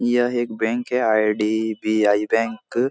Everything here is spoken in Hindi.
यह एक बैंक है आई.डी.बी.आई. बैंक --